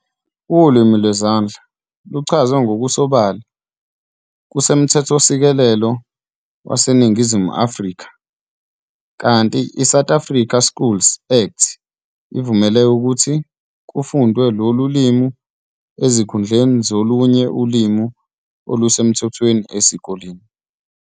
Ulimi lwezandla luchazwe ngokusobala kumthethosisekelo waseNingizimu Afrika, kanti iSouth African Schools Act ivumela ukuthi kufundwe lolu limi esikhundleni solunye ulimi olusemthethweni esikoleni.